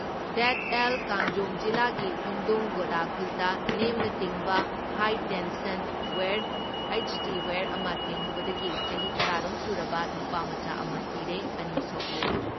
ꯗꯦꯗ ꯑꯦꯜ ꯀꯥꯡꯖꯣꯡ ꯖꯤꯂꯥꯒꯤ ꯍꯨꯟꯗꯨꯡ ꯒꯣꯗꯥ ꯈꯨꯜꯗ ꯅꯦꯝꯅ ꯇꯤꯡꯕ high tension wire HT wire ꯑꯃ ꯊꯦꯡꯂꯨꯕꯗꯒꯤ ꯆꯍꯤ ꯇꯔꯥ ꯔꯣꯝ ꯁꯨꯔꯕ ꯅꯨꯄꯥꯃꯆꯥ ꯑꯃ ꯁꯤꯔꯦ, ꯑꯅꯤ ꯁꯣꯛꯂꯦ ꯫